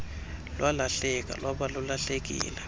lwalahleka lwaba lulahlekile